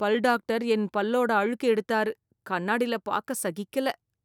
பல் டாக்டர் என் பல்லோட அழுக்கு எடுத்தாரு. கண்ணாடி ல பார்க்க சகிக்கல‌